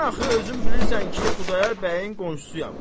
Mən axı özün bilirsən ki, Xudayar bəyin qonşusuyam.